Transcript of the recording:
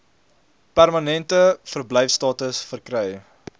permanente verblyfstatus verkry